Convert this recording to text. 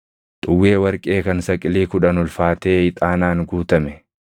xuwwee warqee kan saqilii kudhan ulfaatee ixaanaan guutame,